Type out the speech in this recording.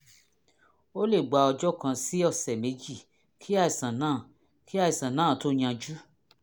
ó lè gba ọjọ́ kan sí ọ̀sẹ̀ méjì kí àìsàn náà kí àìsàn náà tó yanjú